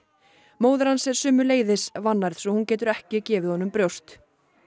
móðir hans er sömuleiðis vannærð svo hún getur ekki gefið honum brjóst